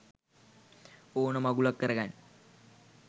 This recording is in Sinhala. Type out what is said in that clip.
ඕන මගුලක් කරගන්න